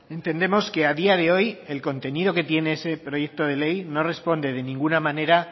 entendemos que a día de hoy el contenido que tiene ese proyecto de ley no responde de ninguna manera